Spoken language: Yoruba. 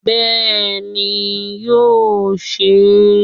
Bẹ́ẹ̀ni, yóò se é